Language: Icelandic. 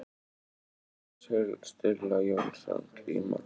Stulla Jónsson glíma því þeir vissu að margir landar mættu þar í sama tilgangi.